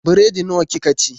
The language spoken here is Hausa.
Biredi nawa kika ci?